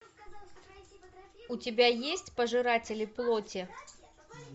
у тебя есть пожиратели плоти